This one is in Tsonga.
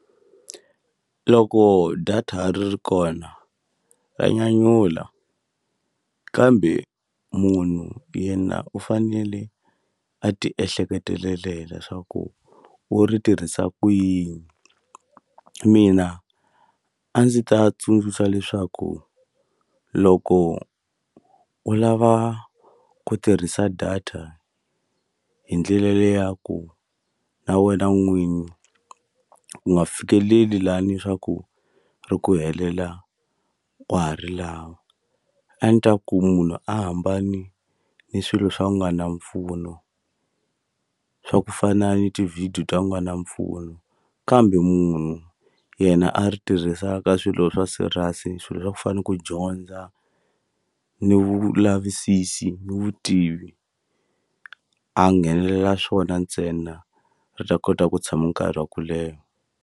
Loko data ri ri kona ra nyanyula kambe munhu yena u fanele a ti ehleketelela swaku u ri tirhisa ku yini mina a ndzi ta tsundzuxa leswaku loko u lava ku tirhisa data hi ndlela leya ku na wena n'winyi u nga fikeleli lani swa ku ri ku helela wa ha ri lava a ni ku munhu a hambane ni swilo swa ku nga na mpfuno swa ku fana ni tivhidiyo ta ku nga na mpfuno kambe munhu yena a ri tirhisa ka swilo swa serious swilo swa ku fani ku dyondza ni vulavisisi ni vutivi a nghenelela swona ntsena ri ta kota ku tshama nkarhi wa ku leha.